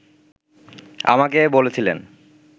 আমাকে বলেছিলেন